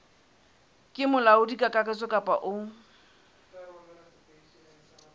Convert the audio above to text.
ke molaodi kakaretso kapa o